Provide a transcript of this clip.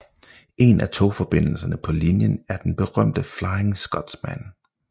En af togforbindelserne på linjen er den berømte Flying Scotsman